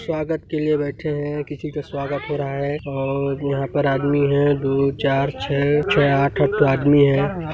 स्वागत के लिए बैठे हैं किसी का स्वागत हो रहा हैं और यहाँ पर आदमी हैं दु चार छह छह आठ आठ ठो आदमी है।